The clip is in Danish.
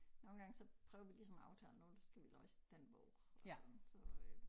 Nogle gange så prøver vi ligesom at aftale nu skal vi læse den bog og sådan så øh